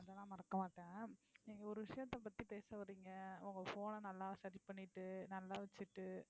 அதெல்லாம் மறக்க மாட்டேன். நீங்க ஒரு விஷயத்த பத்தி பேச வர்றீங்க உங்க phone அ நல்லா சரி பண்ணிகிட்டு நல்லா வச்சிட்டு